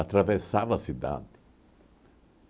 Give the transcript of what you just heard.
a cidade.